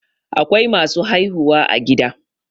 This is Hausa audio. Akwai masu haihuwa a gida